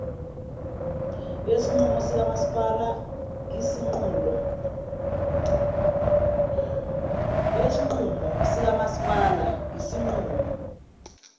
yesinqumo sikamasipala isinqulo